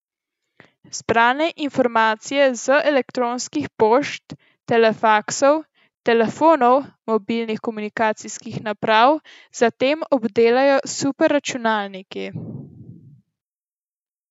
Zbrane informacije z elektronskih pošt, telefaksov, telefonov, mobilnih komunikacijskih naprav zatem obdelajo superračunalniki.